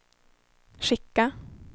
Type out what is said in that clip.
skicka